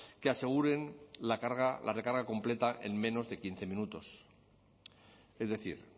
que aseguren la carga la recarga completa en menos de quince minutos es decir